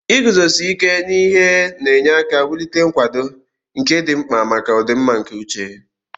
Iguzosi ike n'ihe na-enye aka wulite nkwado, nke dị mkpa maka ọdịmma nke uche.